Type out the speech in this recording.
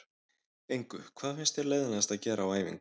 Engu Hvað finnst þér leiðinlegast að gera á æfingu?